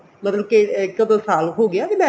ਮਤਲਬ ਕੇ ਕਦੋਂ ਸਾਲ ਹੋਗੀ marriage